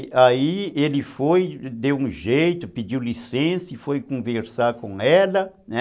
E aí ele foi, deu um jeito, pediu licença e foi conversar com ela, né?